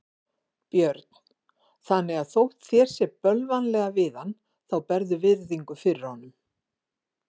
Björn: Þannig að þótt þér sé bölvanlega við hann þá berðu virðingu fyrir honum?